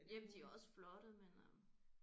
Jamen de er også flotte men øh